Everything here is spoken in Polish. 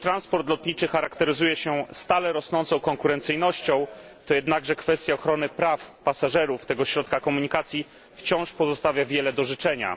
Chociaż transport lotniczy charakteryzuje się stale rosnącą konkurencyjnością, to jednakże kwestia ochrony praw pasażerów tego środka komunikacji wciąż pozostawia wiele do życzenia.